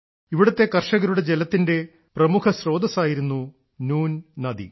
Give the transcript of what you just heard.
ഇവിടത്തെ കർഷകരുടെ ജലത്തിന്റെ പ്രമുഖ സ്രോതസ്സായിരുന്നു നുൻ നദി